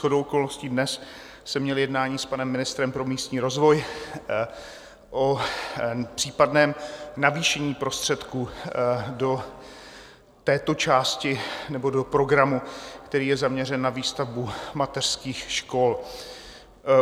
Shodou okolností dnes jsem měl jednání s panem ministrem pro místní rozvoj o případném navýšení prostředků do této části nebo do programu, který je zaměřen na výstavbu mateřských škol.